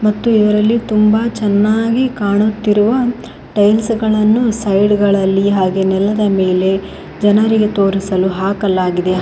ಮತ್ತು ಇದರಲ್ಲಿ ತುಂಬಾ ಚೆನ್ನಾಗಿ ಕಾಣುತ್ತಿರುವ ಟೈಲ್ಸ್ ಗಳನ್ನು ಸೈಡ್ ಅಲ್ಲಿ ಹಾಗೂ ನೆಲದ ಮೇಲೆ ಜನರಿಗೆ ತೋರಿಸಲು ಹಾಕಲಾಗಿದೆ.